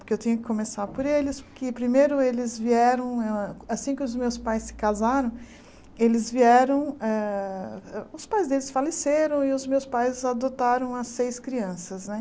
Porque eu tinha que começar por eles, porque primeiro eles vieram eh... Assim que os meus pais se casaram, eles vieram eh... Os pais deles faleceram e os meus pais adotaram as seis crianças, né?